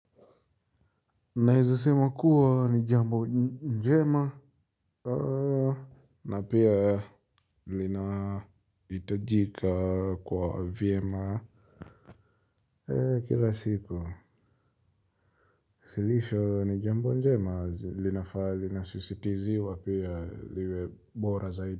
Naeza sema kuwa ni jambo njema. Na pia lina hitajika kwa vyema. Kila siku suluhisho ni jambo jema linafaa linasisitiziwa pia ziwe bora zaidi.